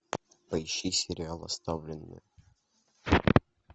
поищи сериал оставленные